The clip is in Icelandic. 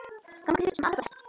Gangi þér sem allra best.